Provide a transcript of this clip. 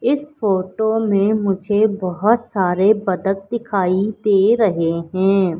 इस फोटो में मुझे बहोत सारे बदक दिखाई दे रहे हैं।